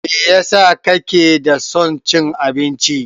Meyasa kake da son cin abinci?